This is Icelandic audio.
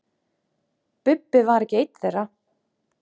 Bubba var ekki einn þeirra.